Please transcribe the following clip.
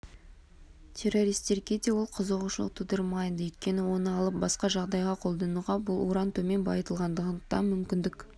террористерге де ол қызығушылық тудырмайды өйткені оны алып басқа жағдайда қолдануға бұл уран төмен байытылғандықтан мүмкіндік